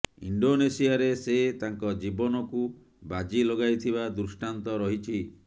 ଇଣ୍ଡୋନେସିଆରେ ସେ ତାଙ୍କ ଜୀବନକୁ ବାଜି ଲଗାଇଥିବା ଦୃଷ୍ଟାନ୍ତ ରହିଛି